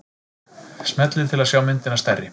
Smellið til að sjá myndina stærri.